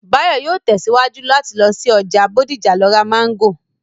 Báyọ̀ yóò tẹ̀síwájú láti lọ sí ọjà Bódìjà láti lọ ra Máńgò